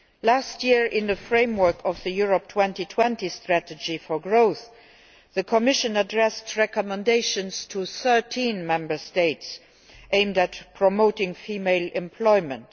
Last year, in the framework of the Europe 2020 strategy for growth, the Commission addressed recommendations to 13 Member States aimed at promoting female employment.